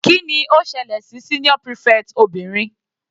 Kíni ó ṣẹlẹ̀ sí senior prefect obìnrin?